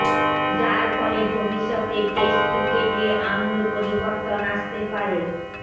যার ফলে ভবিষ্যতে টেস্ট ক্রিকেট আমূল পরিবর্তন আসতে পারে